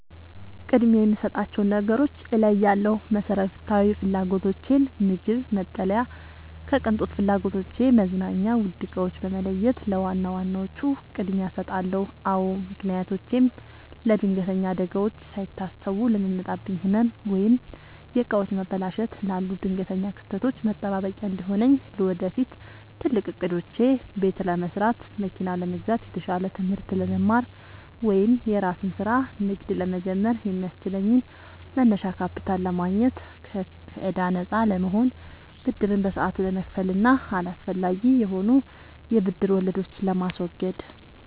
ቅድሚያ የምሰጣቸውን ነገሮች እለያለሁ፦ መሰረታዊ ፍላጎቶቼን (ምግብ፣ መጠለያ) ከቅንጦት ፍላጎቶቼ (መዝናኛ፣ ውድ ዕቃዎች) በመለየት ለዋና ዋናዎቹ ቅድሚያ እሰጣለሁ። አዎ ምክንያቶቼም ለለድንገተኛ አደጋዎች፦ ሳይታሰቡ ለሚመጣብኝ ህመም፣ ወይም የዕቃዎች መበላሸት ላሉ ድንገተኛ ክስተቶች መጠባበቂያ እንዲሆነኝ። ለወደፊት ትልቅ ዕቅዶቼ፦ ቤት ለመስራት፣ መኪና ለመግዛት፣ የተሻለ ትምህርት ለመማር ወይም የራስን ስራ/ንግድ ለመጀመር የሚያስችለኝን መነሻ ካፒታል ለማግኘት። ከከዕዳ ነፃ ለመሆን፦ ብድርን በሰዓቱ ለመክፈል እና አላስፈላጊ የሆኑ የብድር ወለዶችን ለማስወገድ።